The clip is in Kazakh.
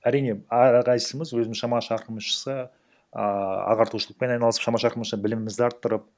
әрине әрқайсымыз өз шама шарқымызша ааа ағартушылықпен айналысып шама шарқымызша білімімізді арттырып